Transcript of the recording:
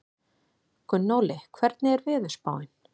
Gunnóli, hvernig er veðurspáin?